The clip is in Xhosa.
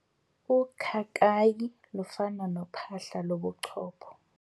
Ukhakayi lufana nophahla lobuchopho.